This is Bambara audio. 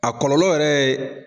A kɔlɔlɔ yɛrɛ ye.